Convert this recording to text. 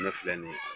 Ne filɛ nin ye